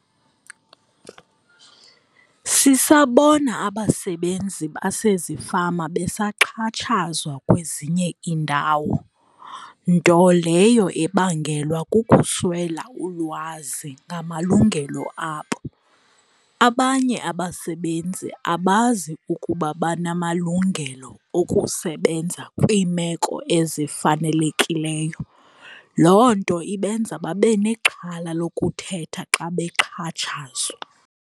Sisabona abasebenzi basezifama besaxhatshazawa kwezinye indawo nto leyo ebangelwa kukuswela ulwazi ngamalungelo abo. Abanye abasebenzi abazi ukuba banamalungelo okusebenza kwimeko ezifanelekileyo loo nto ibenza babe nexhala lokuthetha xa bexhatshazwa.